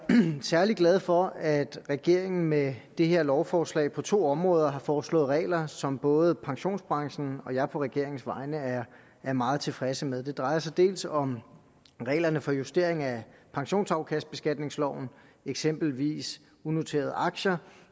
særlig glad for at regeringen med det her lovforslag på to områder har foreslået regler som både pensionsbranchen og jeg på regeringens vegne er er meget tilfredse med det drejer sig dels om reglerne for justering af pensionsafkastbeskatningsloven eksempelvis unoterede aktier